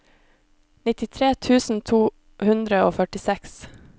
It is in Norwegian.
nittitre tusen to hundre og førtiseks